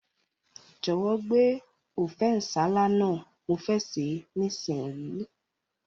Jòwó gbé Ofe nsala náà, mo fe se nísinyí